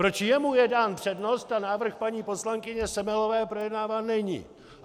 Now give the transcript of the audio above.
Proč jemu je dána přednost a návrh paní poslankyně Semelové projednáván není?